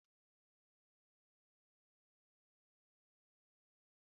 A na-akụzi uri ndị mmadụ site n'ọgbọ.